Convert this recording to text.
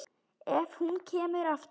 Ef hún kemur aftur.